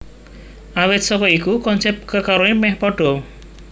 Awit saka iku konsep kekarone meh padha